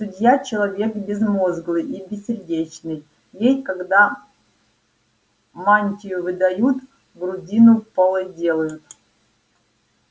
судья человек безмозглый и бессердечный ей когда мантию выдают грудину полой делают